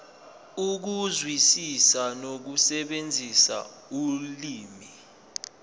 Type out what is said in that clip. ukuzwisisa nokusebenzisa ulimi